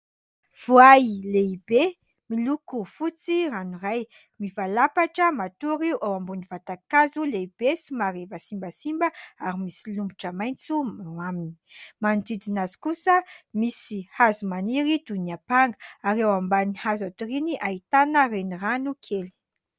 Voay lehibe miloko fotsy ranoray. Mivalapatra matory eo ambony vatakazo lehibe somary efa simbasimba ary misy lomotra maitso eo aminy. Manodidina azy kosa misy hazo maniry toy ny ampanga. Ary eo ambany hazo atoriany ahitana renirano kely.